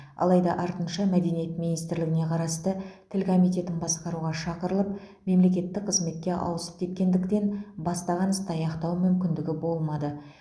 алайда артынша мәдениет министрлігіне қарасты тіл комитетін басқаруға шақырылып мемлекеттік қызметке ауысып кеткендіктен бастаған істі аяқтау мүмкіндігі болмады